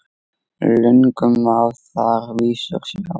Löngum má þar vísur sjá.